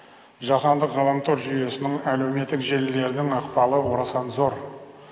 жаһандық ғаламтор жүйесінің әлеуметтік желілердің ықпалы орасан зор